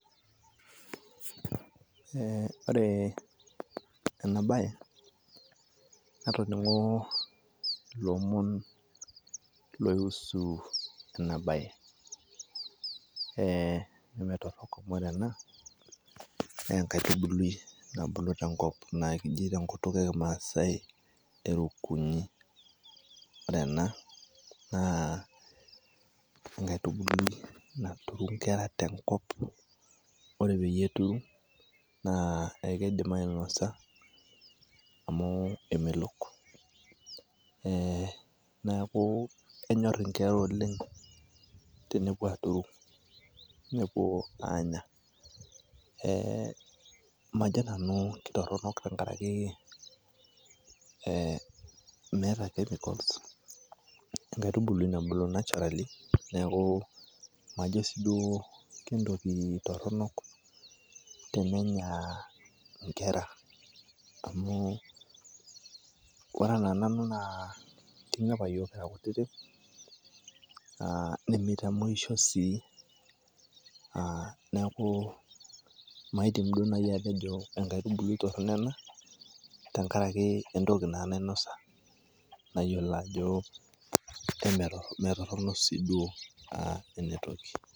Eh ore ena bae, natoning'o lomon loiusu enabae. Menetorok amu ore ena na enkaitubului nabulu tenkop naji tenkutuk ekimaasai erokunyi. Ore ena, naa enkaitubului naturu nkera tenkop. Ore peyie eturu, naa ekeidim ainosa, amu emelok. Neeku enyor inkera oleng tenepuo aturu, nepuo aanya. Eh majo nanu kitorronok tenkaraki eh meeta chemicals ,enkaitubului nabulu naturally ,neeku majo si duo entoki torronok tenenya inkera. Amu ore ena nanu naa kinya apa yiok kira kutitik, ah nimitamoisho sii, ah neeku maidim duo nai atejo enkaitubului torrono ena, tenkaraki entoki naa nainosa nayiolo ajo metorrono si duo ah enetoki.